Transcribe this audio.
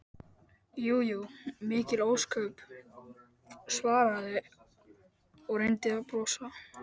Jú jú, mikil ósköp, svaraði hann og reyndi að brosa.